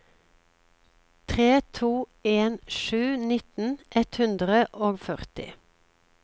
tre to en sju nitten ett hundre og førti